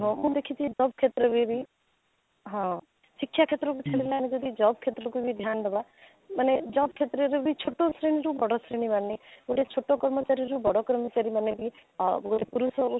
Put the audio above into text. ହଉ ମୁଁ ଦେଖିଛି ବସ କ୍ଷେତ୍ରରେ ବି ହଁ ଶିକ୍ଷା କ୍ଷେତ୍ରରେ ବି ଛାଡିଲା ବେଳକୁ job କ୍ଷେତ୍ରକୁ ବି ଧ୍ୟାନ ଦେବା ମାନେ job କ୍ଷେତ୍ରରେ ବି ଛୋଟ ଶ୍ରେଣୀ ହଉ କି ବଡ ଶ୍ରେଣୀ ମାନେ ଗୋଟେ ଛୋଟ କର୍ମଚାରୀ ରୁ ବଡ କର୍ମଚାରୀ ମାନେ ବି ଆଃ ଗୋଟେ ପୁରୁଷ ଆଉ ନାରୀ